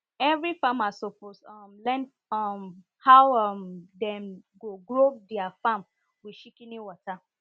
every farmer suppose um learn um how um dem go grow their farm with shikini water